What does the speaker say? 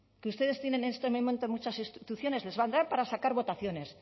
que ustedes tienen en este momento en muchas instituciones les valdrán para sacar votaciones